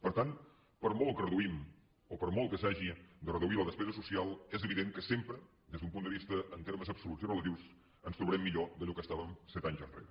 per tant per molt que reduïm o per molt que s’hagi de reduir la despesa social és evident que sempre des d’un punt de vista en termes absoluts i relatius ens trobarem millor d’allò que estàvem set anys enrere